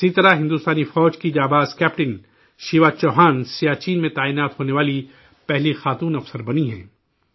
اسی طرح، ہندوستانی فوج کی جانباز کیپٹن شیوا چوہان، سیاچن میں تعینات ہونے والی پہلی خاتون افسر بنی ہیں